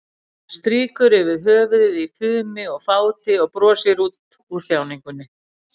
Strýkur yfir höfuðið í fumi og fáti og brosir út úr þjáningunni.